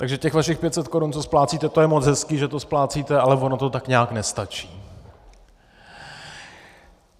Takže těch vašich 500 korun, co splácíte, to je moc hezký, že to splácíte, ale ono to tak nějak nestačí.